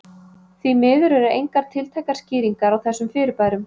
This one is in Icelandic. Því miður eru engar tiltækar skýringar á þessum fyrirbærum.